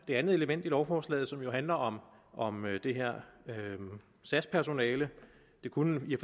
andet element i lovforslaget som jo handler om om sas personale det kunne i